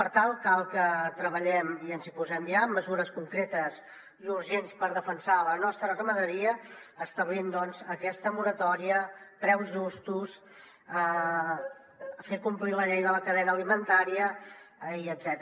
per tant cal que treballem i ens hi posem ja amb mesures concretes i urgents per defensar la nostra ramaderia establint doncs aquesta moratòria preus justos fent complir la llei de la cadena alimentària etcètera